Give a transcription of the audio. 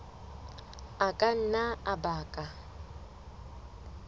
a ka nna a baka